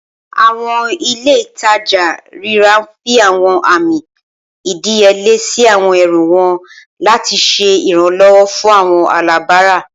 Awọn ile-itaja rira n fi awọn ami ìdíyelé si àwọn ẹrù wọn lati ṣe Iranlọwọ fun awọn alabara